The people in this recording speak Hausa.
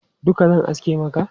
Duka zan aske maka?